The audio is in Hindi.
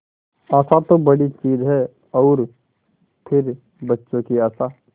आशा तो बड़ी चीज है और फिर बच्चों की आशा